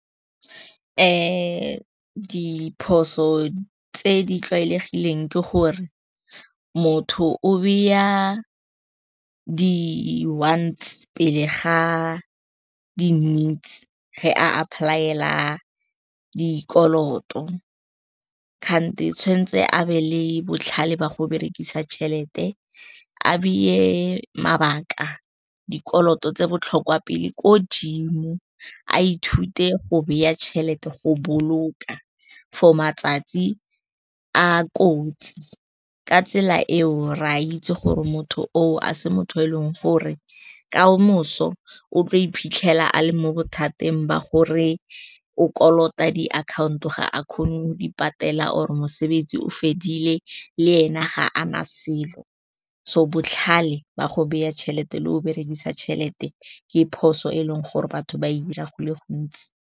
Diphoso tse di tlwaelegileng ke gore motho o beya di-wants pele ga di-needs fa a apply-ela dikoloto, kanti o tshwanetse a be le botlhale ba go berekisa tšhelete, a beye mabaka, dikoloto tse botlhokwa pele ko dimo. A ithute go baya tšhelete, go boloka for matsatsi a kotsi. Ka tsela eo, re a itse gore motho oo a se motho yo eleng gore kamoso o tlo iphitlhela a le mo bothateng ba gore o kolota di akhaonto, ga a kgone go di patela, or-e mosebetsi o fedile, le ene ga a na selo. So botlhale ba go baya tšhelete le go berekisa tšhelete, ke phoso eleng gore batho ba e dira go le gontsi.